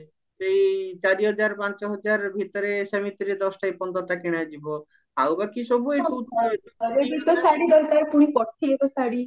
ସେଇ ଚାରି ହଜାର ପାଞ୍ଚ ହଜାର ଭିତରେ ସେମିତିରେ ଦଶଟା କି ପନ୍ଦରଟା କିଣା ଯିବ ଆଉ ବାକି ସବୁ ଏଇ